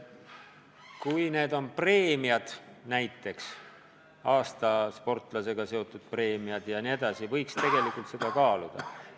Kui tegu on preemiaga, näiteks aasta sportlase tiitliga seotud preemiaga või muu sellisega, siis seda karistust võiks tegelikult kaaluda.